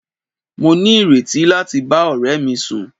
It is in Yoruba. Mo ní ìrètí láti bá ọ̀rẹ́ mi sùn.